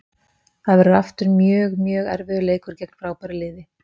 Það verður aftur mjög, mjög erfiður leikur gegn frábæru liði.